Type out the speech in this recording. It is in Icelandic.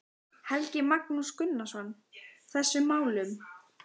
Helgi Magnús Gunnarsson: Þessum málum?